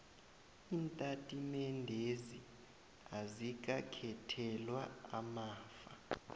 iintatimendezi azikakhethelwa amafa